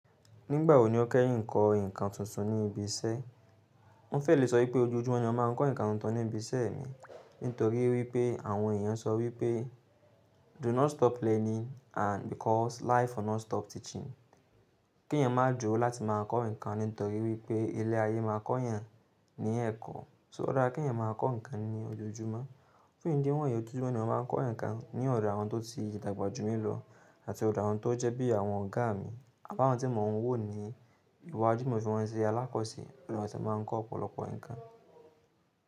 Nígbà wo ni o kẹ́yin ń kọ́ ǹkan tuntun ní ibi iṣẹ́? Mo fẹ́ lè sọ wipé ojoojúmọ́ ni a máa ń kọ́ ǹkan tuntun ní ibi iṣẹ́ mi. Nítorí wípé àwọn èèyàn sọ wípé do not stop learning and because life will not stop teaching. Kí èèyàn má duró láti máa kọ́ ǹkan nítorí wípé ilé ayé máa kọ́ èèyàn ní ẹ̀kọ́. So o dára kí èèyàn máa kọ́ ǹkan ní ojoojúmọ́. Fún ìdí wọ̀nyí ojo júmọ́ ni a máa ń kọ́ ǹkan ní ọ̀do àwọn tó ti dàgbà jù mí lọ àti ọ̀do àwọn tó jẹ́ bí àwọn ọ̀gá mi. Àwọn tí mò ń wò ní ìwà jú timọ́ fi wọn ṣe alákọ̀sẹ̀. Máa ń kọ́ ọ̀pọ̀lọpọ̀ ǹkan.